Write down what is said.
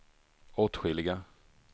åtskilliga